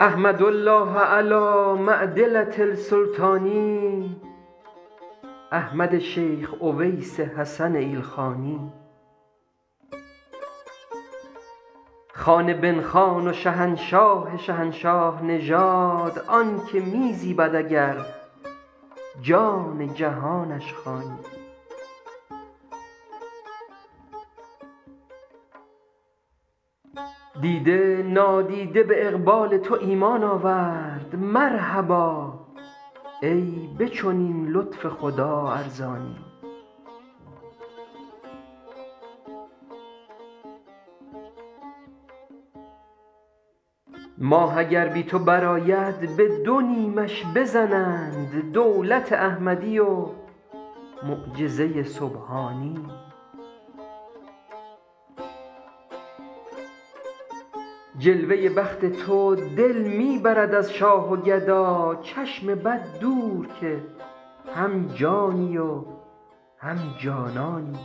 احمد الله علی معدلة السلطان احمد شیخ اویس حسن ایلخانی خان بن خان و شهنشاه شهنشاه نژاد آن که می زیبد اگر جان جهانش خوانی دیده نادیده به اقبال تو ایمان آورد مرحبا ای به چنین لطف خدا ارزانی ماه اگر بی تو برآید به دو نیمش بزنند دولت احمدی و معجزه سبحانی جلوه بخت تو دل می برد از شاه و گدا چشم بد دور که هم جانی و هم جانانی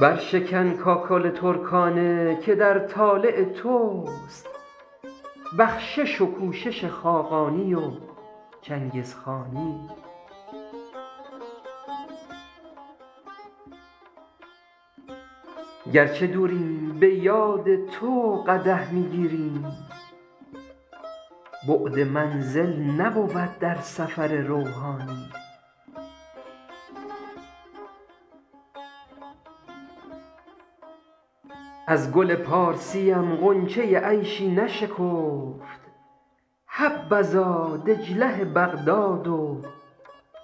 برشکن کاکل ترکانه که در طالع توست بخشش و کوشش خاقانی و چنگزخانی گر چه دوریم به یاد تو قدح می گیریم بعد منزل نبود در سفر روحانی از گل پارسیم غنچه عیشی نشکفت حبذا دجله بغداد و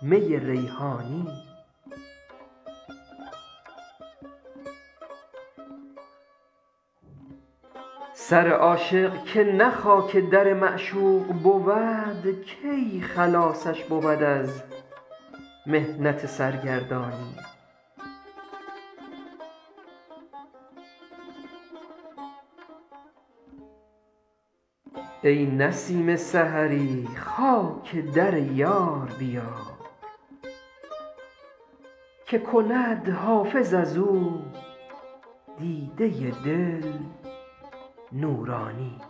می ریحانی سر عاشق که نه خاک در معشوق بود کی خلاصش بود از محنت سرگردانی ای نسیم سحری خاک در یار بیار که کند حافظ از او دیده دل نورانی